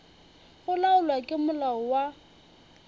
go laolwa ke molao wa